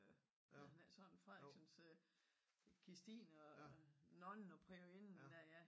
Hedder den ikke sådan frederiksens øh Kristine og nonnen og priorinden